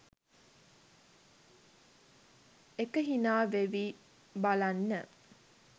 එක හිනා වෙවී බලන්න